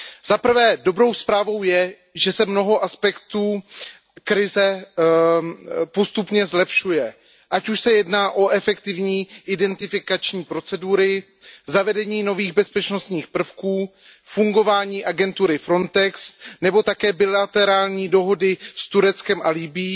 Zaprvé, dobrou zprávou je, že se mnoho aspektů krize postupně zlepšuje, ať už se jedná o efektivní identifikační procedury, zavedení nových bezpečnostních prvků, fungování agentury Frontex nebo také bilaterální dohody s Tureckem a Libyí.